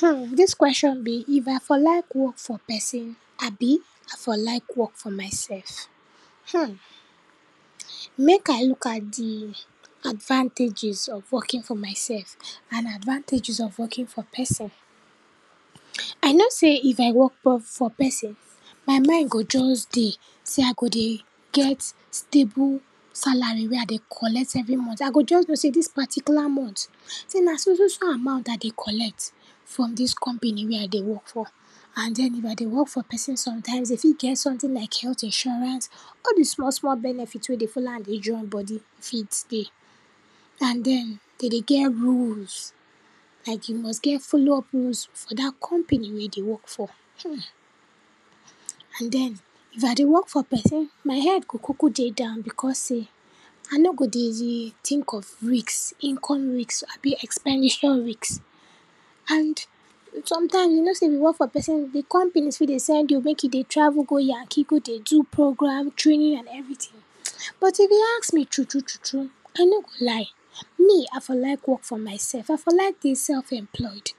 Hmm, dis question be, if I for like work for person abi I for like work for myself. Hmm, mek I look at di advantages of working for myself and advantages of working for person. I know sey if I work for for person, my mind go just dey sey I go dey get stable salary wey I dey collect every mont. I go just know sey dis particular mont sey na so so so amount I dey collect from dis company wey I dey work for and den if I dey work for person sometimes, den fit get sometin like healt insurance, all di small small benefit wey dey follow am dey join body fit dey. And den, dey dey get rules, like you must get follow-up rules for dat company wey you dey work for. Hmm, and den, if I dey work for person my head go kuku dey down because sey I nor go dey tink of risk, income risk abi expenditure risk, and sometimes, you know sey if you work for person di company fit dey send you mek you dey travel go yanki go dey do program, training and everytin. But if you ask me true true true true, I no go lie, me I for like work for myself. I for like dey self-employed,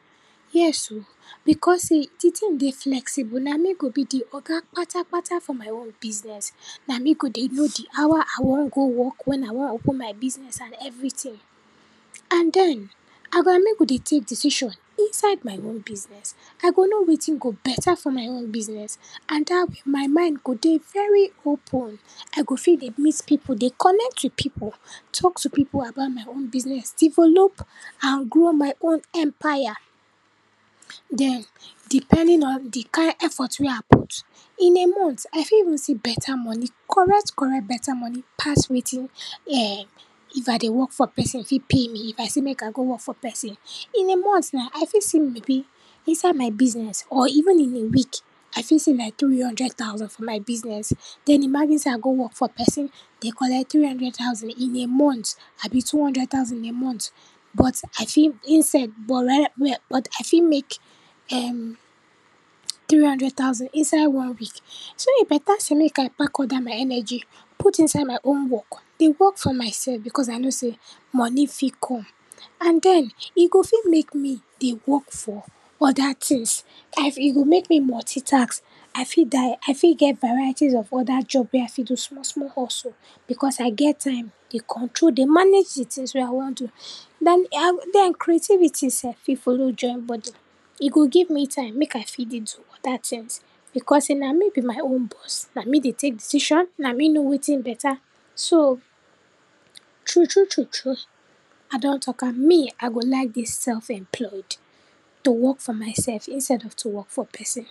yes o because e di tin dey flexible, na me go be di oga kpatakpata for my own business. Na me go dey know di hour I wan go work, when I wan open my business and everytin, and den, I go, na me go dey take decision inside my own business, I go know wetin go beta for my own business and dat way my mind go dey very open. I go fit dey meet pipu, dey connect to pipu, talk to pipu about my own business, develop and grow my own empire. Den, depending on di kind effort wey I put, in a mont, I fit even see beta money correct correct beta money pass wetin um, if I dey work for person fit pay me, if I say mek I go work for person. In a mont na, I fit see maybe inside my business or even in a week, I fit see like tiri hundred thousand for my business, den imagine sey I go work for person dey collect tiri hundred thousand in a mont abi two hundred thousand in a mont, but I fit instead but um, um um but, I fit make um tiri hundred thousand inside one week. So, e beta sey mek I pack all dat my energy put inside my own work, dey work for myself because I know sey money fit come and den e go fit mek me dey work for oda tins. I e go make me multitask, I fit die, I fit get varieties of oda job wey I fit do small small hustle because I get time dey control dey manage di tins wey I wan do. Den, um, den creativity sef fit follow join body, e go give me time mek I fit dey do oda tins because sey na me be my own boss, na me dey take decision, na me know wetin beta, so true true true true, I don talk am, me I go like dey self-employed to work for myself instead of to work for person.